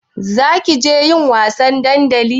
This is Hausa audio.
Zakije yin wasa a dandali?